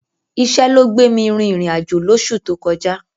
Iṣẹ́ ló gbè mi rin ìrìn-àjò lóṣù tó kọjá.